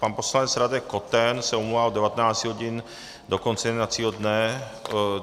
Pan poslanec Radek Koten se omlouvá od 19 hodin do konce jednacího dne.